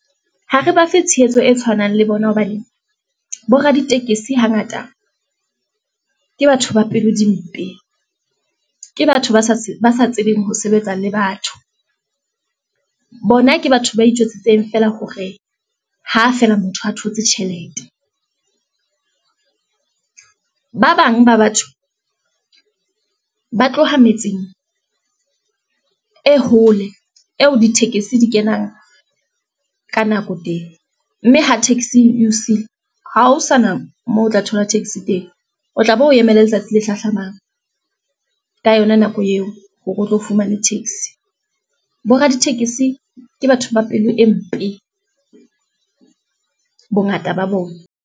Ha re bafe tshehetso e tshwanang le bona hobane, bo raditekesi hangata ke batho ba pelo di mpe, ke batho ba sa tsebeng ho sebetsa le batho, bona ke batho ba itjwetsitse fela hore ha feela motho a thotse tjhelete. Ba bang ba batho ba tloha metseng e hole eo ditekesi di kenang ka nako teng, mme ha taxi e o siile, ha ho sana moo o tla thola taxi teng. O tla be o emele letsatsi le hlahlamang ka yona nako eo, hore o tlo fumane taxi. Bo raditekesi ke batho ba pelo e mpe bongata ba bona.